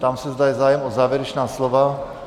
Ptám se, zda je zájem o závěrečná slova?